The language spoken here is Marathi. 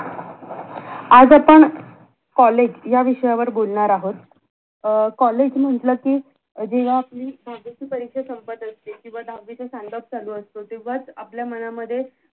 आज आपण कॉलेज या विषयावर बोलणार आहोत अं कॉलेज म्हंटल कि जेव्हा आपली दहावीची परीक्षा संपत असते किंवा दहावीचा send off चालू असतो तेव्हाच आपल्या मनामध्ये